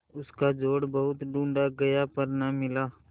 उसका जोड़ बहुत ढूँढ़ा गया पर न मिला